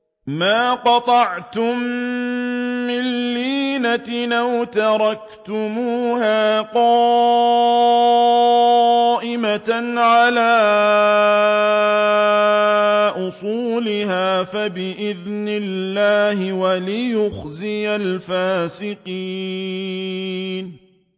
مَا قَطَعْتُم مِّن لِّينَةٍ أَوْ تَرَكْتُمُوهَا قَائِمَةً عَلَىٰ أُصُولِهَا فَبِإِذْنِ اللَّهِ وَلِيُخْزِيَ الْفَاسِقِينَ